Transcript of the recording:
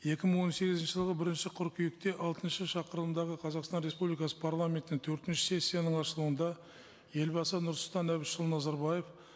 екі мың он сегізінші жылғы бірінші қыркүйекте алтыншы шақырылымдағы қазақстан республикасы парламентінің төртінші сессияның ашылуында елбасы нұрсұлтан әбішұлы назарбаев